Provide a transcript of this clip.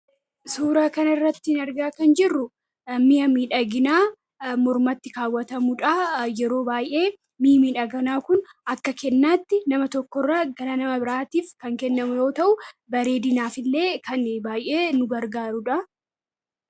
suuraa kan irrattiin argaa kan jirru mihamii dhaginaa murmatti kaawwatamuudha yeroo baay'ee mi'mii dhaganaa kun akka kennaatti nama tokkoirra gala nama biraatiif kan kennamu yoo ta'u baree dinaaf illee kan baay'ee nu bargaaruudha